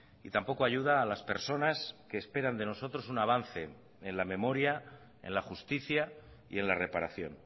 y tampoco ayuda a las personas que esperan de nosotros un avance en la memoria en la justicia y en la reparación